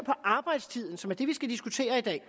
arbejdstiden som er det vi skal diskutere i dag